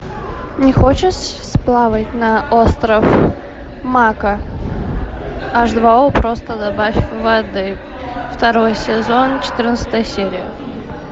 не хочешь сплавать на остров мако аш два о просто добавь воды второй сезон четырнадцатая серия